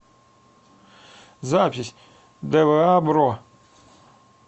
запись дэвэа бро